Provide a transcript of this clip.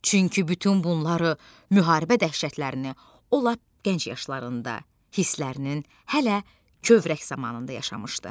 Çünki bütün bunları müharibə dəhşətlərini o lap gənc yaşlarında hisslərinin hələ kövrək zamanında yaşamışdı.